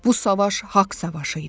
Bu savaş haqq savaşı idi.